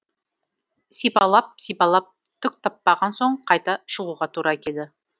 сипалап сипалап түк таппаған соң қайта шығуға тура келді